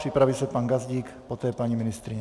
Připraví se pan Gazdík, poté paní ministryně.